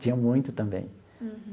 Tinha muito também.